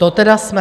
To tedy jsme.